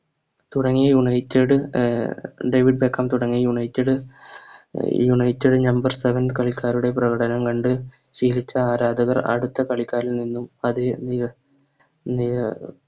തുടങ്ങിയ United uh David Beckham തുടങ്ങിയ United uh United number seven കളിക്കാരുടെ പ്രകടനം കണ്ട് ശീലിച്ച ആരാധകർ അടുത്ത കളിക്കാരിൽ നിന്നും അതെ നില അഹ് നില